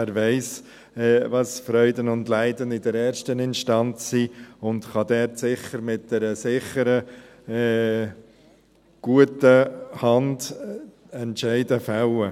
Er weiss, welches die Freuden und Leiden in der ersten Instanz sind und kann mit einer sicheren, guten Hand Entscheide fällen.